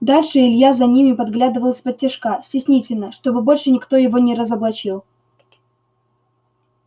дальше илья за ними подглядывал исподтишка стеснительно чтобы больше никто его не разоблачил